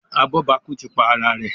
Abobaku tí pá àrà rẹ.